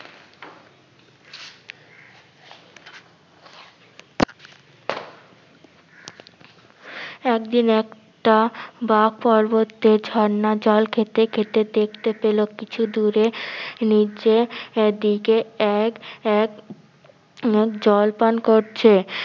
একদিন একটা বাক পর্বতের ঝর্ণা জল খেতে খেতে দেখতে পেলো কিছু দূরে নিচে~ এর দিকে এক এক মুখ জল পান করছে।